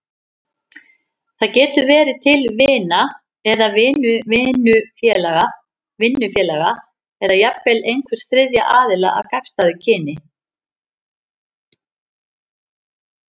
Það getur verið til vina eða vinnufélaga, eða jafnvel einhvers þriðja aðila af gagnstæðu kyni.